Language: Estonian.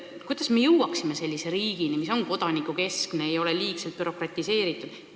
Kuidas me jõuaksime sellise riigini, mis on kodanikukeskne ega ole liigselt bürokratiseeritud?